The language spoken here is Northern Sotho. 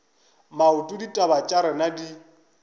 maoto ditaba tša rena di